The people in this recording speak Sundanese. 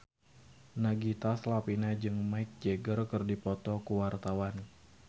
Nagita Slavina jeung Mick Jagger keur dipoto ku wartawan